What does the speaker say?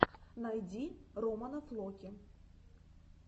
найди романа флоки